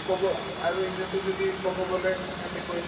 ক'ব অ আৰু এনেও সিহঁতৰ যি ক'ব গ'লে সিহঁতে কই